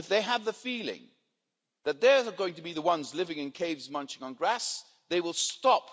If they have the feeling that they're going to be the ones living in caves munching on grass, they will stop.